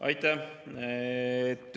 Aitäh!